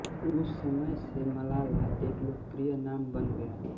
उस समय से मलाला एक लोकप्रिय नाम बन गया